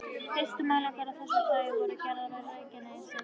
Fyrstu mælingar af þessu tagi voru gerðar á Reykjanesi.